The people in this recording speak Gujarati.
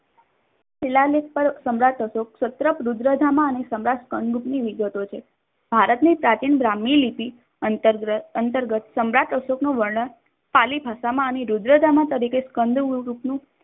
શિલાલેખ પર સમ્રાટ અશોક સ્તરપ રુદ્ર ધામ અને સમ્રાટ વિગતો છે. ભારતની પ્રાચીન બ્રહ્મય લીટી અંતર્ગત સમ્રાટ અશોકનું વર્ણન ખાલી ભાષામાં અને રુદ્ર્ધામ તરીકે